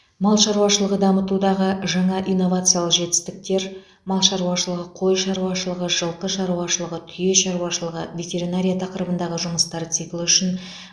мал шаруашылығы дамытудағы жаңа инновациялық жетістіктер мал шаруашылығы қой шаруашылығы жылқы шаруашылығы түйе шаруашылығы ветеринария тақырыбындағы жұмыстар циклі үшін